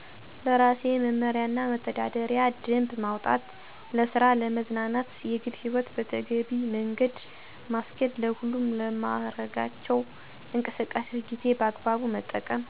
ለራሴ መምሪያና መተዳደሪያ ደንብ ማውጣት ለስራ ለመዝናናት የግልህይወት በተገቢ መገደ ማስኬድ ለሁሉም ለማረጋቸው እንቅስቃሴ ጊዜን በአግባቡ መጠቀም